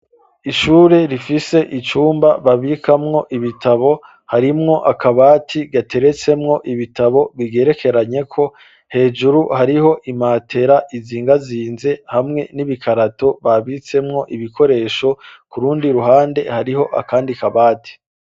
Ishure rifise icumba babikamwo ibitabo harimwo akabati gateretsemwo ibitabo bigerekeranye ko hejuru hariho imatera izingazinze hamwe n'ibikarato babitsemwo ibikoresho kurundi ruhande hariho akandi kabati